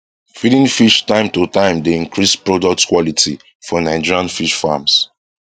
feeding fish time to time dey increase product quality for nigerian fish farms